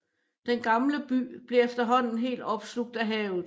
Den gamle by blev efterhånden helt opslugt af havet